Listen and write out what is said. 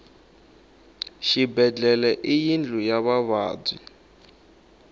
xibedlhele i yindlu ya vavabyi